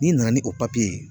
N'i nana ni o ye